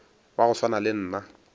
wa go swana le nna